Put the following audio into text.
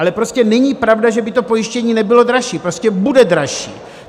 Ale prostě není pravda, že by to pojištění nebylo dražší, prostě bude dražší!